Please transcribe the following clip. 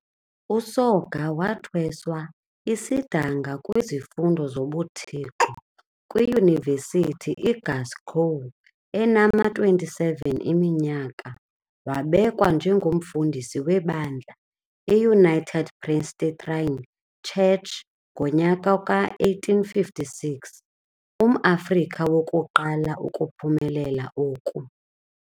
USoga wathweswa isidanga kwizifundo zobuThixo kwiYunivesithi iGlascow enama-27 eminyaka, wabekwa njengomfundisi webandla i-United Presbyterian Church ngonyaka we-1856, umAfrika wokuqala ukuphumelela oku.